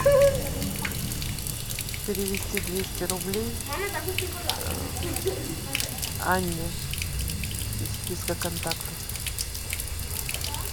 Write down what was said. перевести двести рублей анне из списка контактов